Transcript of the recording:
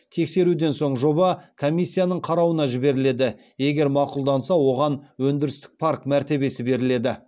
тексеруден соң жоба комиссияның қарауына жіберіледі егер мақұлданса оған өндірістік парк мәртебесі беріледі